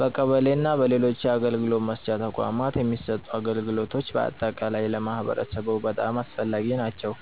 በቀበሌ እና በሌሎች የአገልግሎት መስጫ ተቋማት የሚሰጡ አገልግሎቶች በአጠቃላይ ለማህበረሰቡ በጣም አስፈላጊ ናቸው፣